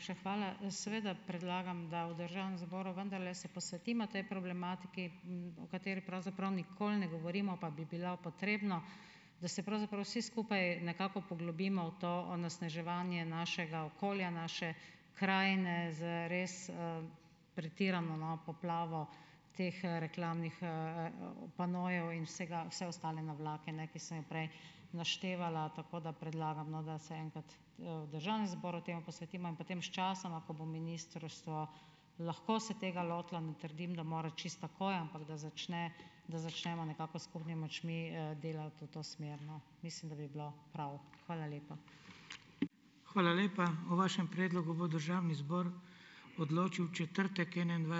hvala. Seveda predlagam, da v državnem zboru vendarle se posvetimo tej problematiki, o kateri pravzaprav nikoli ne govorimo, pa bi bilo potrebno, da se pravzaprav vsi skupaj nekako poglobimo v to onesnaževanje našega okolja, naše krajine, z res, pretirano, no, poplavo teh, reklamnih, panojev in vsega, vse ostale navlake, ne, ki sem jo prej naštevala. Ampak, bolj, da predlagam, no, da se enkrat, v državnem zboru temu posvetimo in potem sčasoma, ko bo ministrstvo lahko se tega lotilo, ne trdim, da mora čisto takoj, ampak, da začne, da začnemo nekako s skupnimi močmi, delati v to smer, no. Mislim, da bi bilo prav. Hvala lepa.